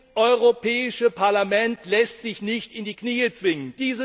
Dieses Europäische Parlament lässt sich nicht in die Knie zwingen!